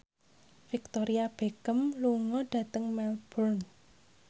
Victoria Beckham lunga dhateng Melbourne